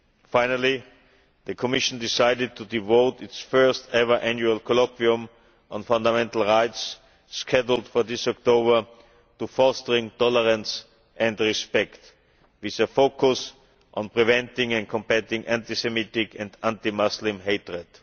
Finally, the Commission decided to devote its first ever Annual Colloquium on Fundamental Rights, scheduled for this October, to fostering tolerance and respect, with a focus on preventing and combating anti Semitic and anti Muslim hatred.